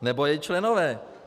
Nebo její členové.